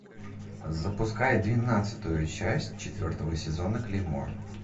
запускай двенадцатую часть четвертого сезона клеймо